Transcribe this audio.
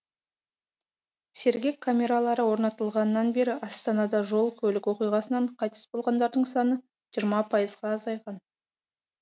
сергек камералары орнатылғаннан бері астанада жол көлік оқиғасынан қайтыс болғандардың саны жиырма пайызға азайған